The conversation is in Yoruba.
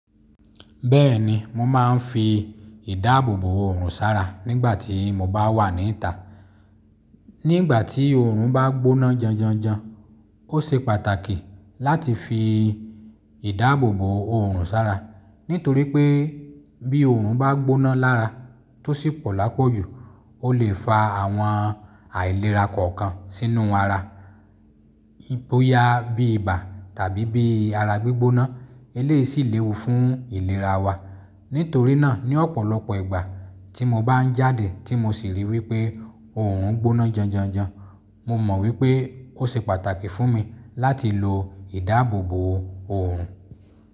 Bẹ́ẹ̀ni, mo máa ń fi ìdáàbòbò òòrùn sára nígbà tí mo bá wà níta. Nígbà tí òòrùn bá gbóná janjanjan, ó ṣe pàtàkì láti fi ìdáàbòbò òòrùn sára. Nítorí pé bí òòrùn bá gbóná lára tó sì pọ̀ lápọ̀ jù, ó lè fa àwọn àìlera kọ̀ọ̀kan sínú ara. Boya bí ibà tàbí bí ara gbígbóná, eléyì ṣí lèwu fún ìlera wa. Nítorí náà ní ọ̀pọ̀lọpọ̀ ìgbà tí mo bá ń jáde tí mo sì rí wípé òòrùn gbóná janjanjan, mo mọ̀ wípé ó ṣe pàtàkì fún mi láti lo ìdáàbòbò òòrùn.